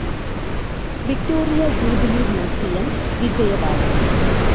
Victoria Jubilee Museum, Vijayawada